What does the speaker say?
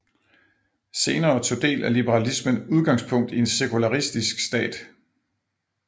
Senere tog dele af liberalismen udgangspunkt i en sekularistisk stat